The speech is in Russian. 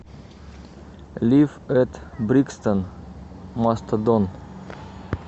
лив эт брикстон мастодон